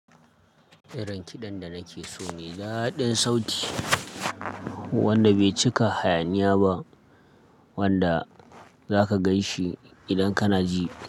Irin kiɗan da nake so mai daɗin sauti wanda bai cika hayaniya ba wanda zaka gan shi idan kana ji.